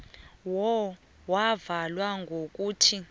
who yavala ngokuthi